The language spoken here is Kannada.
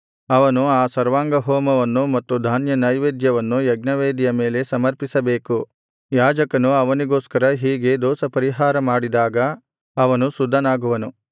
ಅವನು ಆ ಸರ್ವಾಂಗಹೋಮವನ್ನು ಮತ್ತು ಧಾನ್ಯನೈವೇದ್ಯವನ್ನು ಯಜ್ಞವೇದಿಯ ಮೇಲೆ ಸಮರ್ಪಿಸಬೇಕು ಯಾಜಕನು ಅವನಿಗೋಸ್ಕರ ಹೀಗೆ ದೋಷಪರಿಹಾರ ಮಾಡಿದಾಗ ಅವನು ಶುದ್ಧನಾಗುವನು